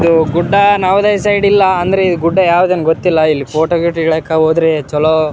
ಇದು ಗುಡ್ಡ ನವೋದಯ ಸೈಡ್ ಇಲ್ಲ ಅಂದ್ರೆ ಗುಡ್ಡ ಯಾವ್ದ್ ಅಂದು ಗೊತ್ತಿಲ್ಲ ಇಲ್ಲಿ ಫೋಟೋ ಗೀಟ ಇಳಿಯೋಕ ಹೋದ್ರೆ ಚಲೋ --